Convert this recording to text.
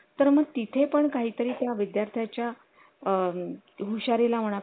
तर मग तिथे पण काहीतरी त्या विद्यार्थ्या च्या अ हुशार